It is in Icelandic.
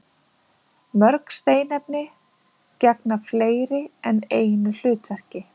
Mörg steinefni gegna fleiri en einu hlutverki.